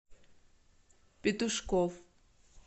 петушков